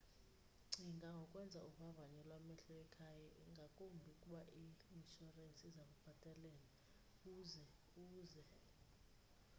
cinga ngokwenza uvavanyo lwamehlo ekhaya ngakumbi ukuba i-inshurensi iza kulubhatalela uze uze